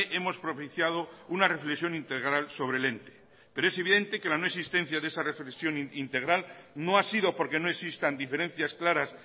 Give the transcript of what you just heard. hemos propiciado una reflexión integral sobre el ente pero es evidente que la no existencia de esa reflexión integral no ha sido porque no existan diferencias claras